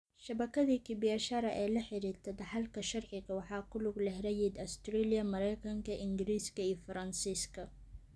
Shabakadii kibiashara ee la xiriirta dhaxalka sharciga waxaa ku lug leh rayid Australia, Maraykanka, Ingiriiska iyo Faransiiska.